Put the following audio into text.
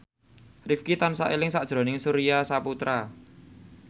Rifqi tansah eling sakjroning Surya Saputra